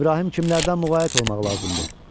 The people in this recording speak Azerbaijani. İbrahim kimlərdən müğayət olmaq lazımdır?